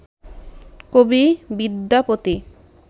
কবি বিদ্যাপতি